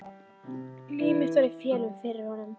Líf mitt var í felum fyrir honum.